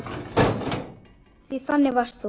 Því þannig varst þú.